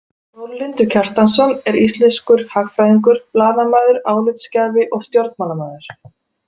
Þórlindur Kjartansson er íslenskur hagfræðingur, blaðamaður, álitsgjafi og stjórnmálamaður.